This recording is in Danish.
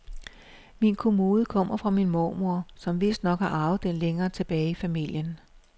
Min kommode kommer fra min mormor, som vistnok har arvet den længere tilbage i familien.